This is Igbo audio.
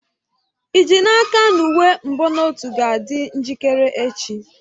Ị ji n'aka na uwe mbonotu ga-adị njikere echi?